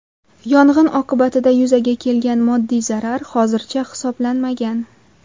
Yong‘in oqibatida yuzaga kelgan moddiy zarar hozircha hisoblanmagan.